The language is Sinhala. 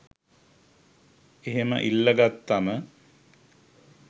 එහෙම ඉල්ලගත්තම